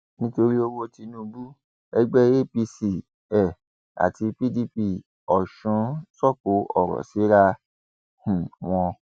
nítorí owó tinubu ẹgbẹ apc um àti pdp ọsún sọkò ọrọ síra um wọn